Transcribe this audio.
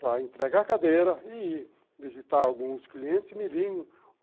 para entregar a cadeira e visitar alguns clientes milinho.